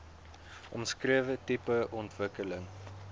omskrewe tipe ontwikkeling